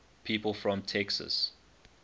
people from texas